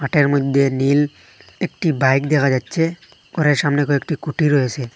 মাঠের মধ্যে নীল একটি বাইক দেখা যাচ্ছে ঘরের সামনে কয়েকটি খুঁটি রয়েসে।